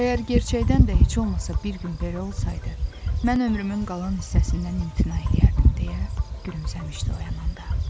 Əgər gerçəkdən də heç olmasa bir gün belə olsaydı, mən ömrümün qalan hissəsindən imtina eləyərdim deyə gülümsəmişdi oyananda.